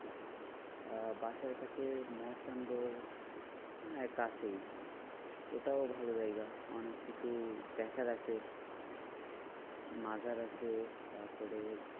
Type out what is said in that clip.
আহ বাসার কাছে মস্তানগর হ্যাঁ কাছেই ওটাও ভালো জায়গা অনেক কিছু দেখার আছে। মাজার আছে তারপরে